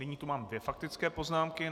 Nyní tu mám dvě faktické poznámky.